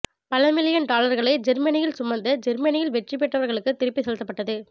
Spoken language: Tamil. பல மில்லியன் டாலர்களை ஜேர்மனியில் சுமந்த ஜேர்மனியில் வெற்றி பெற்றவர்களுக்கு திருப்பிச் செலுத்தப்பட்டது